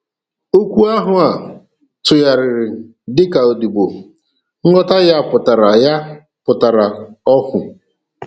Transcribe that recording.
Okwu ahụ a tụgharịrị dịka Odibo, nghọta ya pụtara ya pụtara óhù